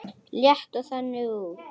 Lít ég þannig út?